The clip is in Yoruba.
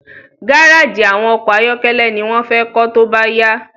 Garaji awọn ọkọ ayọkẹlẹ ni wón fé kó tóbá yá